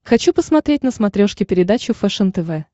хочу посмотреть на смотрешке передачу фэшен тв